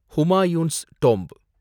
Humayun's tomb